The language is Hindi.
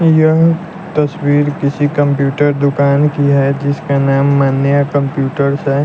यह तस्वीर किसी कंप्यूटर दुकान की है जिसका नाम मन्या कंप्यूटर्स है।